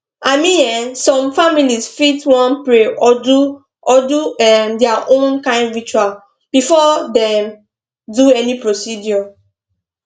i mean um some families fit wan pray or do or do um their own kind ritual before dem do any procedure